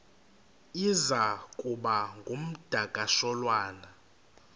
iza kuba ngumdakasholwana